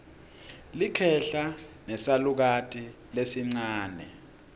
likhehla nesalukati lesincane